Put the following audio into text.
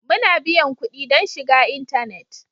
Muna biyan kuɗi don shiga intanet.